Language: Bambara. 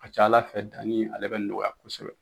A ka ca ala fɛ dani ale bɛ nɔgɔya kosɛbɛ